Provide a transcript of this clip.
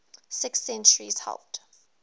sixth centuries helped